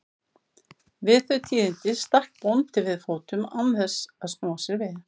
Við þau tíðindi stakk bóndi við fótum án þess að snúa sér við.